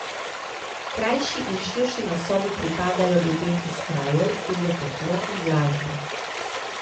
Krajši in širši nosovi pripadajo ljudem iz krajev, kjer je toplo in vlažno.